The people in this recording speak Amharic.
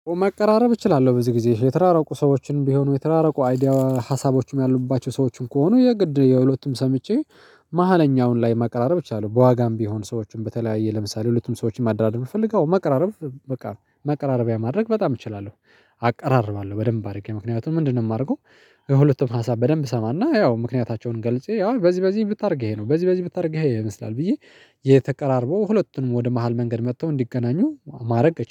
መቀራረብ እችላለሁ በዚህ ጊዜ የተራረቁ ሰዎችን ቢሆኑ የተራረቁ አይዲያ ሀሳቦችም ያሉባቸው ሰዎችን ከሆኑ የግድ የሁለቱም ሰምቼ መሃለኛውን ላይ መቀራረብ እችላለው ነው። በዋጋም ቢሆኑ ሰዎቹን በተለያየ ለምሳሌ ሁለቱም ሰዎችን ማዳረደር ብፈልግ መቀራራብ በቃ ማቀራረቢያ ማድረግ በጣም እችላለሁ አቀራርባለሁ በደንብ አድርጌ ምክንያቱን ምንድነው? የማደርገው። ሁለቱም ሀሳብ በደንብ ሰማና ያው ምክንያታቸውን ገልጼ ያው በዚህ በዚህ ብታደርግ ይሄ ነው በዚህ በዚህ ብታደርግ ይሄ ይመስላል ብዬ የተቀራርበው ሁለቱንም ወደ መሃል መንገድ መጥተው እንዲገናኙ ማድረግ